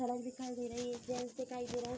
सड़क दिखाई दे रही है गैस दिखाई दे रहें --